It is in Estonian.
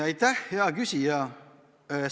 Aitäh, hea küsija!